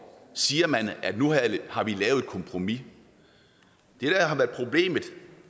siger man at nu har vi lavet et kompromis jeg